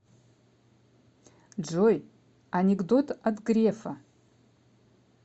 джой анекдот от грефа